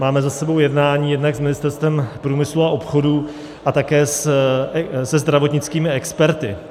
Máme za sebou jednání jednak s Ministerstvem průmyslu a obchodu a také se zdravotnickými experty.